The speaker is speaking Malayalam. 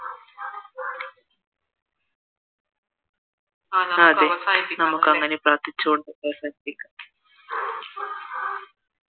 ആ അതേ അങ്ങനെ നമുക്ക് പ്രാർഥിച്ച് നമുക്ക് അവസാനിപ്പിക്കാം